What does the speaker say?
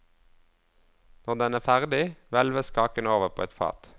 Når den er ferdig, hvelves kaken over på et fat.